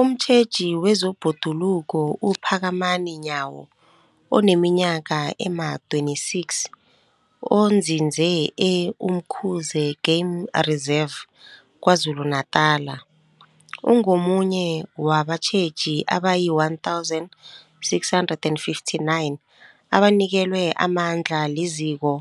Umtjheji wezeBhoduluko uPhakamani Nyawo oneminyaka ema-26, onzinze e-Umkhuze Game Reserve KwaZulu-Natala, ungomunye wabatjheji abayi-1 659 abanikelwe amandla liZiko